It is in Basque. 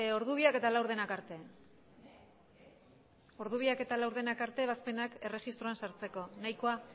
ordu biak eta laurdenak arte ordu biak eta laurdenak arte ebazpenak erregistroan sartzeko nahikoa